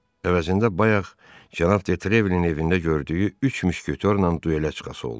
Əvəzində bayaq cənab Detrevelin evində gördüyü üç müşketorla duelə çıxası oldu.